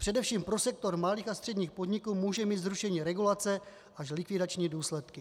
Především pro sektor malých a středních podniků může mít zrušení regulace až likvidační důsledky.